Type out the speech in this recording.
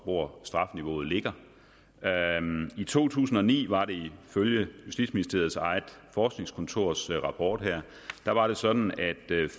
hvor strafniveauet ligger i to tusind og ni var det ifølge justitsministeriets eget forskningskontors rapport sådan at